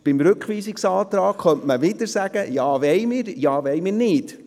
Dort könnten wir wieder entscheiden, ob wir zustimmen wollen oder nicht.